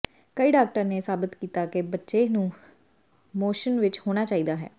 ਕਈ ਡਾਕਟਰ ਨੇ ਸਾਬਤ ਕੀਤਾ ਕਿ ਬੱਚੇ ਨੂੰ ਮੋਸ਼ਨ ਵਿਚ ਹੋਣਾ ਚਾਹੀਦਾ ਹੈ